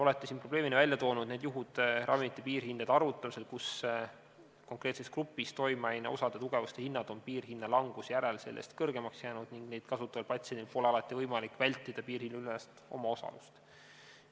Olete siin probleemina esile toonud need juhud ravimite piirhindade arvutamisel, kus konkreetses grupis toimeaine osa tugevuste hinnad on piirhinna languse järel jäänud sellest kõrgemaks ning neid kasutaval patsiendil pole alati võimalik vältida piirhinnaülest omaosalust.